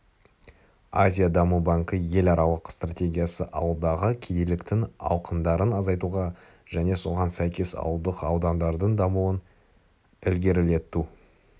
азия даму банкі еларалық стратегиясы ауылдағы кедейліктің ауқымдарын азайтуға және соған сәйкес ауылдық аудандардың дамуын ілгерілету